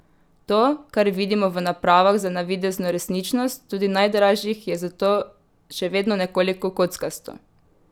To, kar vidimo v napravah za navidezno resničnost, tudi najdražjih, je zato še vedno nekoliko kockasto.